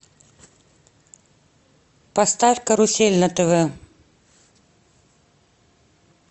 поставь карусель на тв